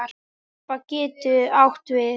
Harpa getur átt við